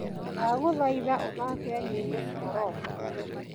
ndagũthaitha ũthaake nyĩmbo cia rock